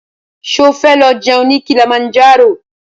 Ṣo fẹ́ lọ jẹun ní Kilimanjaro?